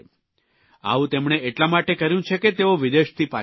આવું તેમણે એટલા માટે કર્યું છે કે તેઓ વિદેશથી પાછા આવ્યા છે